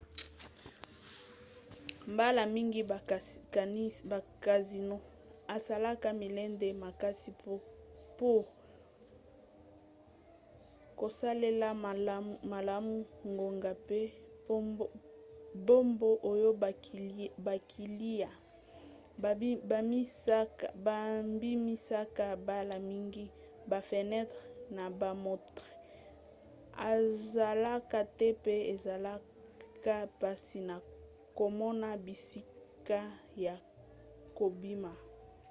mbala mingi ba casinos esalaka milende makasi pour kosalela malamu ngonga mpe mbongo oyo bakiliya babimisaka. mbala mingi bafenetre na bamontre ezalaka te pe ezalaka mpasi na komona bisika ya kobima